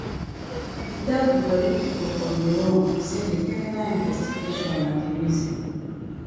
e tell di tori pipo for di room say di criminal investigation na di reason